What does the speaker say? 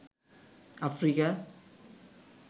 Africa